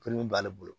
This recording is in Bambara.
b'ale bolo